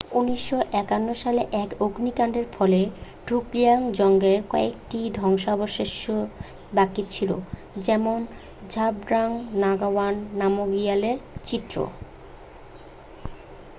1951 সালে এক অগ্নিকাণ্ডের ফলে ড্রুকগিয়াল জংয়ের কয়েকটি ধ্বংসাবশেষই বাকি ছিল যেমন ঝাবড্রাং নাগাওয়াং নামগিয়ালের চিত্র